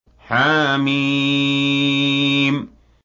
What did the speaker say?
حم